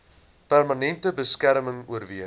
permanente beskerming oorweeg